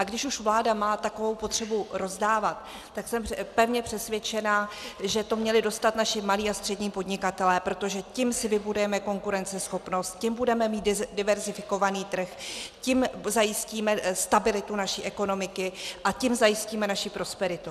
A když už vláda má takovou potřebu rozdávat, tak jsem pevně přesvědčena, že to měli dostat naši malí a střední podnikatelé, protože tím si vybudujeme konkurenceschopnost, tím budeme mít diverzifikovaný trh, tím zajistíme stabilitu naší ekonomiky a tím zajistíme naši prosperitu.